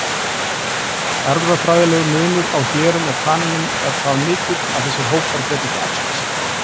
Erfðafræðilegur munur á hérum og kanínum er það mikill að þessir hópar geta ekki æxlast.